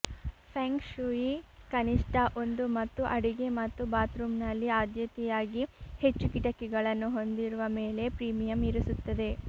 feng shui ಕನಿಷ್ಠ ಒಂದು ಮತ್ತು ಅಡಿಗೆ ಮತ್ತು ಬಾತ್ರೂಮ್ನಲ್ಲಿ ಆದ್ಯತೆಯಾಗಿ ಹೆಚ್ಚು ಕಿಟಕಿಗಳನ್ನು ಹೊಂದಿರುವ ಮೇಲೆ ಪ್ರೀಮಿಯಂ ಇರಿಸುತ್ತದೆ